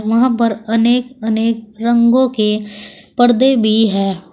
यहां पर अनेक अनेक रंगों के पर्दे भी हैं।